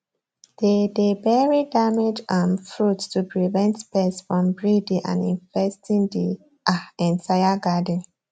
they dey bury damaged um fruits to prevent pests from breeding and infesting the um entire garden